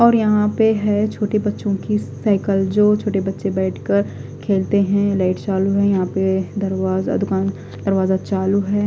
और यहां पे है छोटे बच्चों की साइकिल जो छोटे बच्चे बैठकर खेलते हैं लाइट चालू है यहां पे दरवाजा दुकान दरवाजा चालू है।